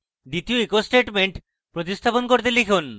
এবং দ্বিতীয় echo statement প্রতিস্থাপন করে লিখুন: